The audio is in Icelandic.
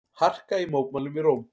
Harka í mótmælum í Róm